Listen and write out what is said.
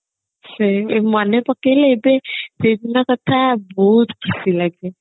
ସେଇ ମନେ ପକେଇଲେ ଏବେ ସେଇଦିନ କଥା ବହୁତ ଖୁସି ଲାଗେ